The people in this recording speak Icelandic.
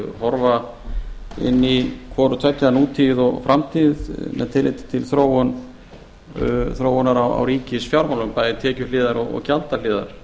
horfa inn í hvorutveggja nútíð og framtíð með tilliti til þróunar á ríkisfjármálum bæði tekjuhliðar og gjaldahliðar